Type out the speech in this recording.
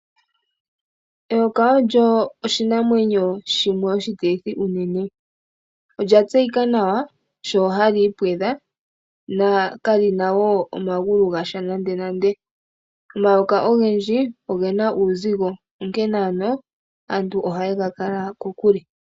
Eyoka olyo oshinamwenyo shimwe oshitilithi unene. Olya tseyika nawa sho hali ipwedha nokali na sha omagulu nandenande. Omayoka ogendji oge na uuzigo, onkene aantu ohaye ga kala kokule.